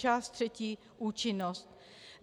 Část třetí Účinnost.